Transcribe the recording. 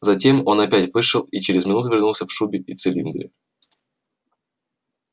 затем он опять вышел и через минуту вернулся в шубе и в цилиндре